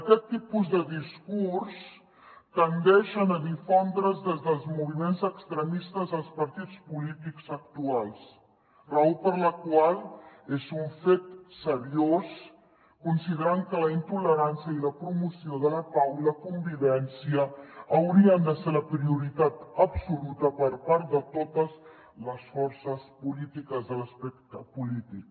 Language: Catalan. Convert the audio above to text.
aquest tipus de discurs tendeix a difondre’s des dels moviments extremistes als partits polítics actuals raó per la qual és un fet seriós considerant que la intolerància i la promoció de la pau i la convivència haurien de ser la prioritat absoluta per part de totes les forces polítiques de l’espectre polític